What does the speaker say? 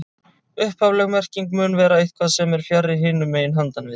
Upphafleg merking mun vera eitthvað sem er fjarri, hinum megin, handan við